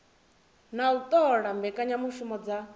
na u ṱola mbekanyamushumo dza